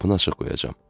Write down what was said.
Qapını açıq qoyacağam.